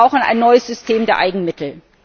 Und wir brauchen ein neues System der Eigenmittel.